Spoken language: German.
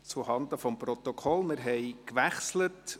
Zuhanden des Protokolls: Wir haben die Sitzungsleitung gewechselt.